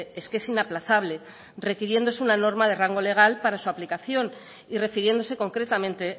es que es inaplazable requiriéndose una norma de rango legal para su aplicación y refiriéndose concretamente